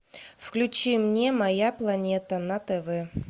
включи мне моя планета на тв